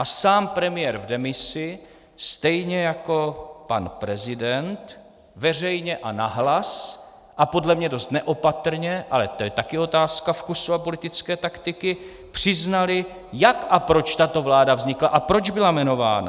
A sám premiér v demisi stejně jako pan prezident veřejně a nahlas a podle mě dost neopatrně, ale to je taky otázka vkusu a politické taktiky, přiznali, jak a proč tato vláda vznikla a proč byla jmenována.